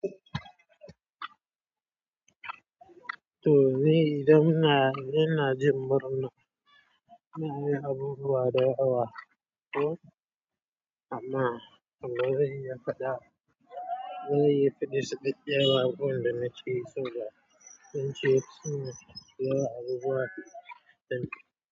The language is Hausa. To ni idan in, ina jin murar nan inayin abubuwa dayawa ko, amma.